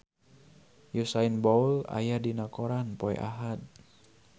Usain Bolt aya dina koran poe Ahad